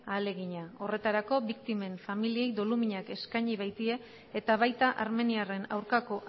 ahalegina horretarako biktimen familiei doluminak eskaini baitie eta baita armeniarren aurkako